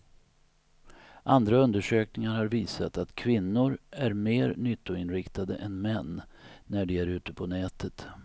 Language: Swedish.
Andra undersökningar har visat att kvinnor är mer nyttoinriktade än män när de är ute på nätet.